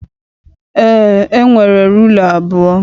Eé, e nwere rula abụọ.